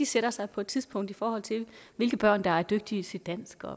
sætter sig på et tidspunkt fast i forhold til hvilke børn der er dygtige til dansk